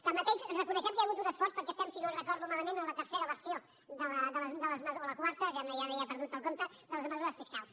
tanmateix reconeixem que hi ha hagut un esforç perquè estem si no ho recordo malament en la tercera versió o la quarta ja n’he perdut el compte de les mesures fiscals